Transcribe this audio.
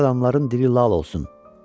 Pis adamların dili lal olsun.